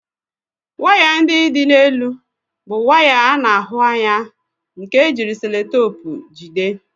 Waya ndị dị n'elu bụ waya a na-ahụ anya nke ejiri seloteepu ejide